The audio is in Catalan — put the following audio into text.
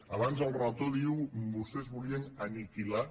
abans el relator diu vostès volien aniquilar